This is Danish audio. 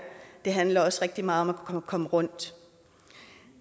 det handler også rigtig meget om at komme rundt